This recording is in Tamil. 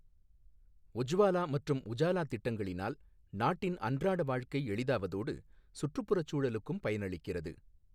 உஜ்வாலா மற்றும் உஜாலா திட்டங்களினால் நாட்டின் அன்றாட வாழ்க்கை எளிதாவதோடு, சுற்றுப்புறச்சூழலுக்கும் பயனளிக்கிறது.